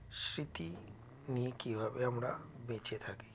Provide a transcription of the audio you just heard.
স্মৃতি নিয়ে কীভাবে আমরা বেঁচে থাকি